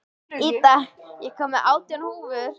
Ída, ég kom með átján húfur!